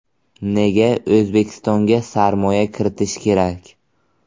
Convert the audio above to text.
Nega O‘zbekistonga sarmoya kiritish kerak?